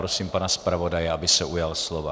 Prosím pana zpravodaje, aby se ujal slova.